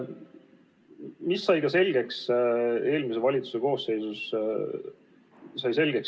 Mis sai ka selgeks eelmise valitsuse ajal?